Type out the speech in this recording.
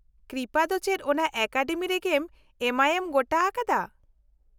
ᱠᱨᱤᱯᱟ ᱫᱚ ᱪᱮᱫ ᱚᱱᱟ ᱮᱠᱟᱰᱮᱢᱤ ᱨᱮᱜᱮᱢ ᱮᱢᱟᱭᱮᱢ, ᱜᱚᱴᱟ ᱟᱠᱟᱫᱟ ?